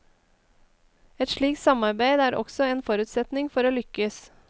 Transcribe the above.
Et slikt samarbeid er også en forutsetning for å lykkes.